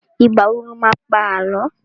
Ìgbà wo lo má pá Àlọ́?